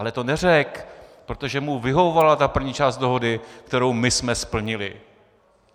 Ale to neřekl, protože mu vyhovovala ta první část dohody, kterou my jsme splnili.